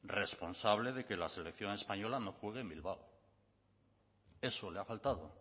responsable de que la selección española no juegue en bilbao eso le ha faltado